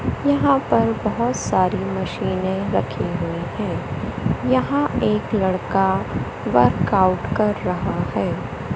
यहां पर बहुत सारी मशीनें रखी हुई हैं यहां पर एक लड़का वर्कआउट कर रहा हैं।